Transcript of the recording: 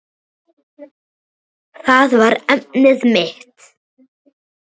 Það var efnið mitt.